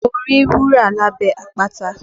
Mo rí wúrà lábẹ́ àpáta